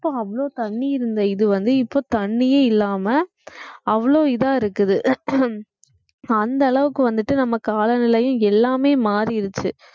அப்போ அவ்ளோ தண்ணி இருந்த இது வந்து இப்ப தண்ணியே இல்லாம அவ்ளோ இதா இருக்குது அந்த அளவுக்கு வந்துட்டு நம்ம காலநிலை எல்லாமே மாறிடுச்சு